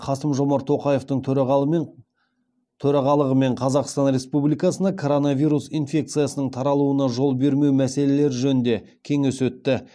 қасым жомарт тоқаевтың төрағалығымен қазақстан республикасында коронавирус инфекциясының таралуына жол бермеу мәселелері жөнінде кеңес өтті